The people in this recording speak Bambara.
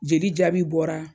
Jeli jaabi bɔra